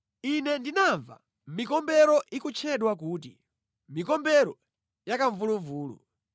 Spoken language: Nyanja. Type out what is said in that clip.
Ine ndinamva mikombero ikutchedwa kuti, “mikombero yakamvuluvulu.”